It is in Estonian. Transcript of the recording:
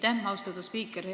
Aitäh, austatud spiiker!